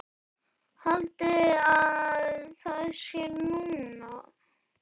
Haldiði að það sé nú!